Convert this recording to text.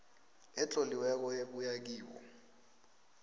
etloliweko ebuya kibo